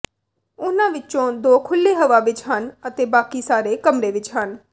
ਉਨ੍ਹਾਂ ਵਿਚੋਂ ਦੋ ਖੁੱਲ੍ਹੇ ਹਵਾ ਵਿਚ ਹਨ ਅਤੇ ਬਾਕੀ ਸਾਰੇ ਕਮਰੇ ਵਿਚ ਹਨ